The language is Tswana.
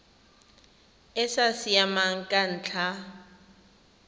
e sa siamang ka ntlha